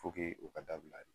Foke o ka dabila de